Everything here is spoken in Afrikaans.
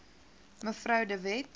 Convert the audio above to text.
mev de wet